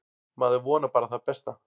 Maður vonar bara það besta.